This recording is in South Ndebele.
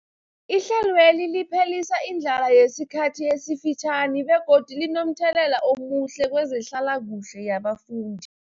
Ihlelweli liphelisa indlala yesikhathi esifitjhani begodu linomthelela omuhle kezehlalakuhle yabafundi.